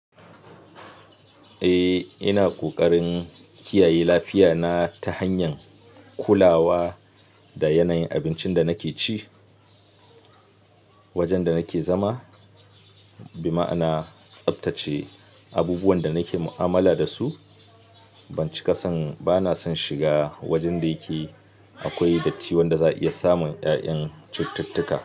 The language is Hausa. Eh, ina ƙoƙarin kiyaye lafiya na ta hanyar kulawa da yanayin abincin da nake ci, wajen da nake zama, bima'ana tsaftace abubuwan da nake mu'amala da su. Ban ci ƙasan, bana son shiga wajen da yake akwai datti wanda za a iya samun ƴaƴan cututtuka.